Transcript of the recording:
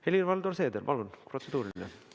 Helir-Valdor Seeder, palun, protseduuriline!